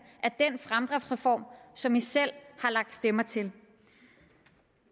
er den fremdriftsreform som de selv har lagt stemmer til